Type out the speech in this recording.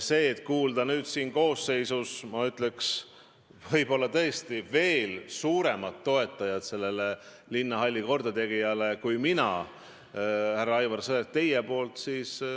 Nüüd selles koosseisus olete te minust veel suurem linnahalli kordategemise toetaja, härra Aivar Sõerd.